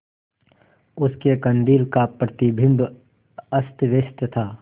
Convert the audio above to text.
उसके कंदील का प्रतिबिंब अस्तव्यस्त था